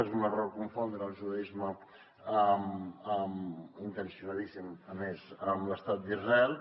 és un error confondre el judaisme intencionadíssim a més amb l’estat d’israel